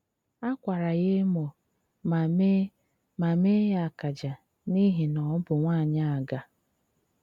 Á kwárà yá émó mà mee mà mee ya akaje n’íhì ná ọ́ bụ́ nwááńyị́ ágà.